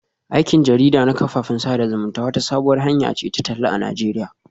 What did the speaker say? Aikin jarida na kafafen sada zumunta wata sabuwar hanya ce ta talla a Najeriya